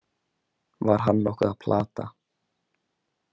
Var hann nokkuð að plata?